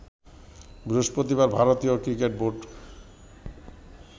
বৃহস্পতিবার ভারতীয় cricket board